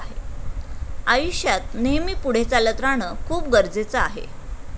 आयुष्यात नेहमी पुढे चालत राहणं खूप गरजेचं आहे.